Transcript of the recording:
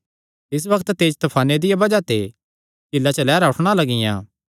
तिसी बग्त तेज तफाने दिया बज़ाह ते झीला च लैहरां उठणा लगियां